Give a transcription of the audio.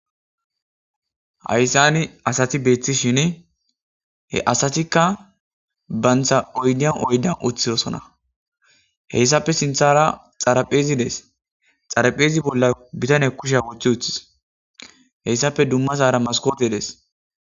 Hayssani asati beeththishini he asatikka bantha oydiyan oydiyan uththizosona heyssape sinthara xarapheezi dees xarapheezi bolla bitane kushiya wothi uthis heyssappe dummazaara maskoote dees.